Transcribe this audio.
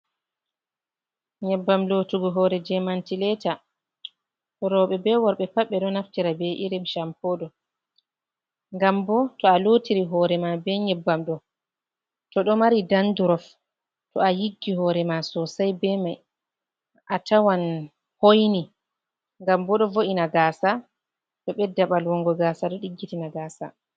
Nyebbam lotugo hore je mantileta roɓe be worɓe pat ɓe ɗo naftira be irim champo ɗo ngam bo to a lotiri hore ma be nyebbam ɗo to ɗo mari dandurof to a yiggi hore ma sosai be mai a tawan hoyni ngam bo ɗo vo’ina gaasa ɗo ɓedda ɓalwongo gasa ɗo ɗiggitina gasa.